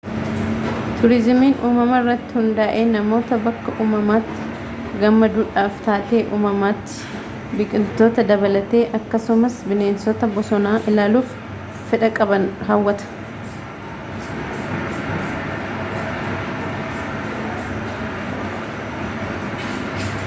tuuriizimiin uumama irratti hundaa’e namoota bakka uumamaatti gammaduudhaf taatee uumamaatti biqiltoota dabalatee akkasumas bineensota boosona ilaaluuf fedha qaban hawwata